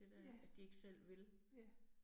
Ja. Ja